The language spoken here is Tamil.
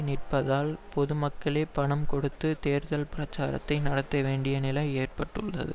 நிற்பதால் பொது மக்களுக்கே பணம் கொடுத்து தேர்தல் பிரச்சாரத்தை நடத்தவேண்டிய நிலை ஏற்பட்டுள்ளது